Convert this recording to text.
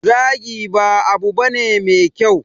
Zagi ba abu bane me kyau.